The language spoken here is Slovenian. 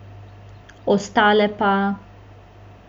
Ostale pa ...